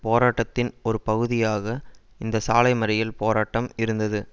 போராட்டத்தின் ஒரு பகுதியாக இந்த சாலை மறியல் போராட்டம் இருந்தது